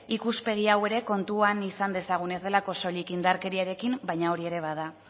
ikuspegi hau ere kontuan izan dezagun ez delako soilik indarkeriarekin baino hori ere bada